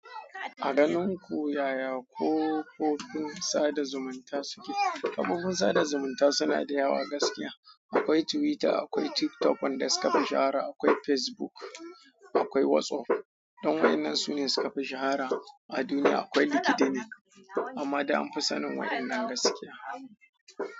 A ganin ku yaya kafofin sada zumunta suke? Kafofin sada zumunta suna da yawa gaskiya. Akwai Twitter, akwai TikTok, wanda suka fi shahara akwai Facebook, akwai WhatsApp dan waƴannan sune suka fi shahara a duniya. Akwai LinkedIn ne amma dai an fi sanin waƴannan gaskiya.